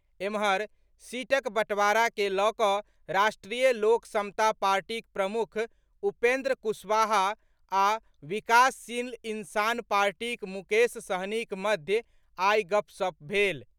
एम्हर, सीटक बंटवारा के लऽ कऽ राष्ट्रीय लोक समता पार्टीक प्रमुख उपेंद्र कुशवाहा आ विकासशील इंसान पार्टीक मुकेश सहनीक मध्य आई गपशप भेल।